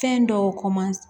Fɛn dɔw ko ma